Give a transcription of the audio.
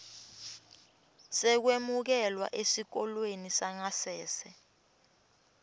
sekwemukelwa esikolweni sangasese